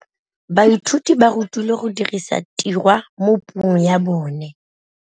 Baithuti ba rutilwe go dirisa tirwa mo puong ya bone.